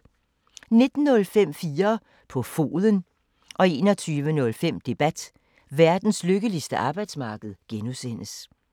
19:05: 4 på foden 21:05: Debat: Verdens lykkeligste arbejdsmarked (G)